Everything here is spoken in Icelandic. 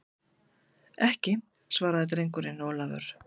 Ekki, svaraði drengurinn Ólafur.